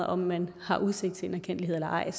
om man har udsigt til en erkendtlighed eller ej